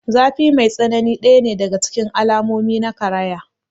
Zafi mai tsanani ɗaya ne daga cikin alamomi na karaya.